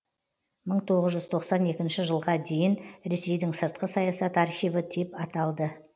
мың тоғыз жүз тоқсан енкінші жылға дейін ресейдің сыртқы саясат архиві деп аталды